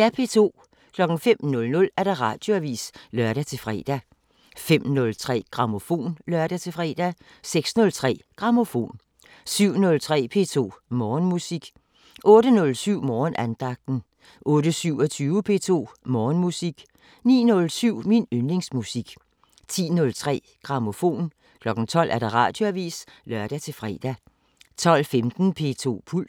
05:00: Radioavisen (lør-fre) 05:03: Grammofon (lør-fre) 06:03: Grammofon 07:03: P2 Morgenmusik 08:07: Morgenandagten 08:27: P2 Morgenmusik 09:07: Min yndlingsmusik 10:03: Grammofon 12:00: Radioavisen (lør-fre) 12:15: P2 Puls